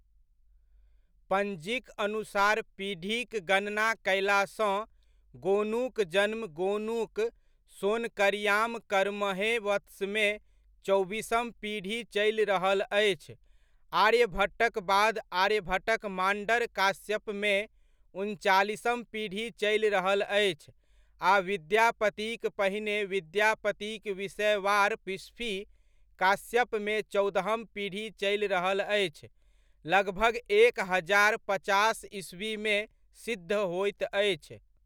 पञ्जीक अनुसार पीढ़ीक गणना कयलासँ गोनूक जन्म गोनूक सोनकरियाम करमहे वत्समे चौबीसम पीढ़ी चलि रहल अछि आर्यभट्टक बाद आर्यभट्टक माण्डर काश्यपमे उनचालीसम पीढ़ी चलि रहल अछि आ विद्यापतिक पहिने विद्यापतिक विषएवार बिस्फी काश्यपमे चौदहम पीढ़ी चलि रहल अछि, लगभग एक हजार पचास ईस्वीमे सिद्ध होइत अछि।